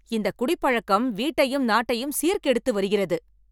இந்த குடிப்பழக்கம் வீட்டையும் நாட்டையும் சீர் கெடுத்து வருகிறது.